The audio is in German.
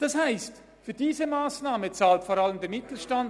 Das heisst, für diese Massnahme zahlt vor allem der Mittelstand;